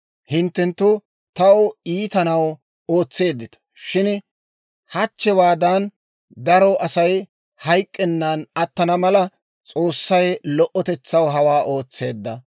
Hinttenttu taw iitanaw ootseeddita; shin hachchewaadan daro Asay hayk'k'ennan attana mala, S'oossay lo"otetsaw hawaa ootseedda.